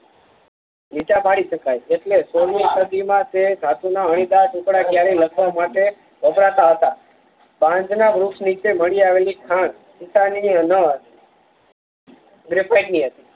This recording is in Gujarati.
લીટા પાડી શકાય છે એટલે સોળ મી સદીમાં તે જાતના અણીદારટુકડા ક્યારેય લખવા માટે વપરાતા હતા પાંજનાના વૃક્ષનીચે મળી આવેલી ખાણ ગરેફાઈટ હતી